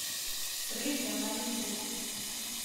крылья на ютуб